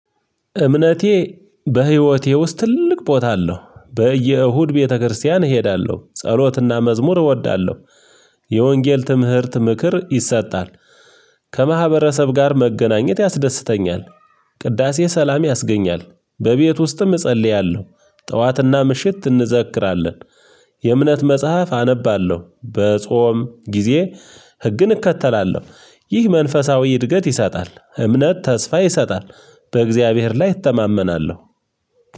እምነቴ በህይወቴ ውስጥ ትልቅ ቦታ አለው በየእሁድ ቤተክርስቲያን እሄዳለሁ ጸሎትና መዝሙር እወዳለሁ። የወንጌል ትምህርት ምክር ይሰጣል። ከማህበረሰብ ጋር መገናኘት ያስደስተኛል። ቅዳሴ ሰላም ያስገኛል። በቤት ውስጥም እጸልያለሁ ጠዋትና ምሽት እንዘክራለን። የእምነት መጽሐፍ አነባለሁ በጾም ጊዜ። ህግን እከተላለሁ ይህ መንፈሳዊ እድገት ይሰጣል። እምነት ተስፋ ይሰጣል። በእግዚአብሔር ላይ እተማመናለሁ።